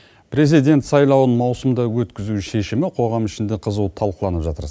президент сайлауын маусымда өткізу шешімі қоғам ішінде қызу талқыланып жатыр